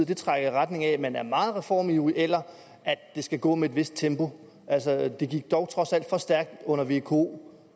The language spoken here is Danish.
det trækker i retning af at man er meget reformivrig eller at det skal gå med et vist tempo altså det gik dog trods alt for stærkt under vko